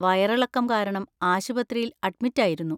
വയറിളക്കം കാരണം ആശുപത്രിയിൽ അഡ്‌മിറ്റ്‌ ആയിരുന്നു.